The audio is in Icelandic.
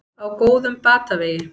Á góðum batavegi